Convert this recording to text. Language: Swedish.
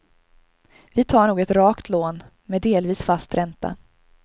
Vi tar nog ett rakt lån, med delvis fast ränta.